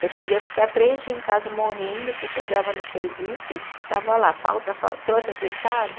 Você podia ficar três dia em casa morrendo, você chegava no serviço, estava lá, falta, falta, trouxe atestado,